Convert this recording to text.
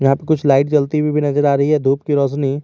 यहां पे कुछ लाइट जलती हुइ भी नजर आ रही है धुप की रौशनी --